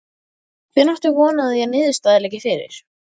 Hvenær átt þú von á að niðurstaða liggi fyrir?